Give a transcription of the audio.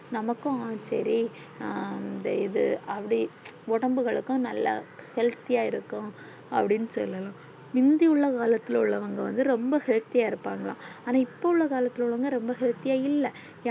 நமக்கு அ சேரி அ அந்த இது அப்டி ஒடம்புகளுக்கு நல்ல healthy யா இருக்கும் அப்டின்னு சொல்லலாம் முந்தி உள்ள காலத்துள்ள உள்ளவங்க வந்து ரொம்ப healthy யா இருப்பாங்க்ளா ஆனா இப்போ உள்ள காலத்துள்ள உள்ளவங்க healthy யா இல்ல